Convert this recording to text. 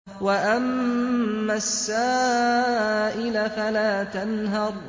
وَأَمَّا السَّائِلَ فَلَا تَنْهَرْ